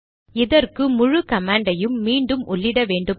இதற்கு முழு கமாண்டையும் மீண்டும் உள்ளிட வேண்டுமா